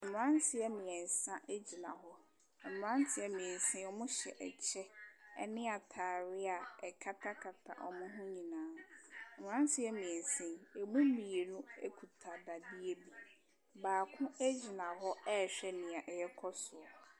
Mmaranteɛ mmiɛnsa ɛgyina hɔ mmaranteɛ mmiɛnsa ɔmɔ hyɛ kyɛw ɛne ataadeɛ ɛkata kata ɔmɔ hɔn nyinaa mmaranteɛ mmiɛnsa ɛmu mmienu kuta dadeɛ bi baako gyina hɔ a hwɛ nea ɛkɔ so.